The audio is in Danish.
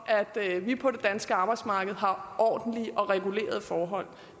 at vi på det danske arbejdsmarked har ordentlige og regulerede forhold